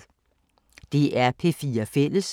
DR P4 Fælles